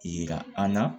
Yira an na